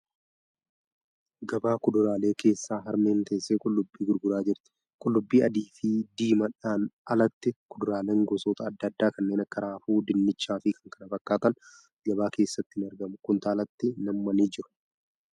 Gabaa kuduraalee keessa harmeen teessee qullubbii gurguraa jirti. Qullubbii adii fi siimaadhaan alatti kuduraaleen gosoota adda addaa kanneen akka raafuu, dinnichaa fi kan kana fakkattan gabaa keessatti ni aragmu. Kuntaalatti nammanii jiru.